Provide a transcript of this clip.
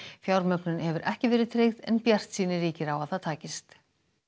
fjármögnun hefur ekki verið tryggð en bjartsýni ríkir á að það takist